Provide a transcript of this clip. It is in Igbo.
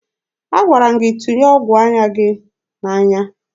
Agwara m gị tụnye ọgụ anya gị n'anya!